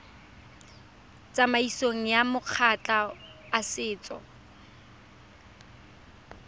tsamaisong ya makgotla a setso